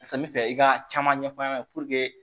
Fɛn bɛ fɛ i ka caman ɲɛ fɔ an ɲɛna